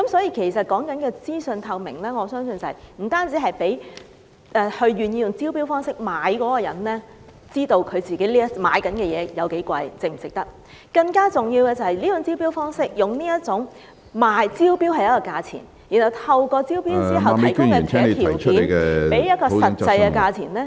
因此，所謂資訊透明，我相信不僅是讓願意用招標方式購買物業的人知道自己買的物業價錢為何、是否值得，更重要的是，這種招標時賣一個價錢，然後在招標後透過提供其他條件，令買家繳付另一個實際價錢......